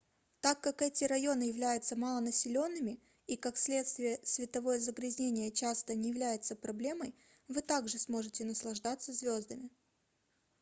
так как эти районы являются малонаселенными и как следствие световое загрязнение часто не является проблемой вы также сможете наслаждаться звездами